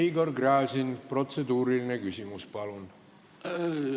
Igor Gräzin, protseduuriline küsimus, palun!